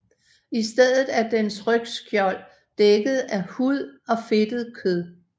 I stedet er dens rygskjold dækket af hud og fedtet kød